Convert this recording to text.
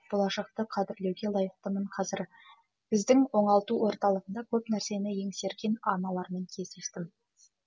болашақты қадірлеуге лайықтымын қазір біздің оңалту орталығында көп нәрсені еңсерген аналармен кездестім